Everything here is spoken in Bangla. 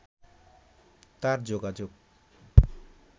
তাঁর যোগাযোগ